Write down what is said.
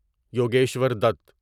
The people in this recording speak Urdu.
یوگیشور دت